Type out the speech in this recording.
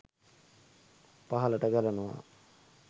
පහළට ගලනවා